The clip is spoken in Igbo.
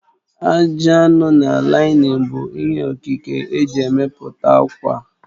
Ajị anụ na laịnin bụ ihe Okike eji emepụta ákwà